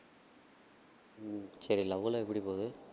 சரி love எல்லாம் எப்படி போது?